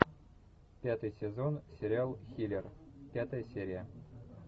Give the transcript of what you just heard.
пятый сезон сериал хилер пятая серия